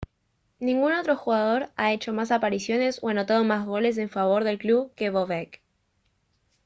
ningún otro jugador ha hecho más apariciones o anotado más goles en favor del club que bobek